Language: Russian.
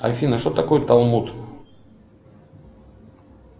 афина что такое талмуд